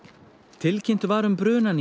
tilkynnt var um brunann í